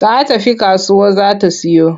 Ta tafi kasuwa za ta siyo.